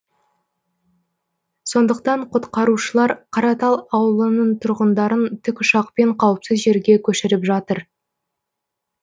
сондықтан құтқарушылар қаратал ауылының тұрғындарын тікұшақпен қауіпсіз жерге көшіріп жатыр